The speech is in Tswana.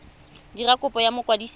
dira kopo go mokwadisi wa